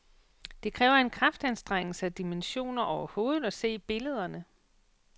Det kræver en kraftanstrengelse af dimensioner overhovedet at se billederne.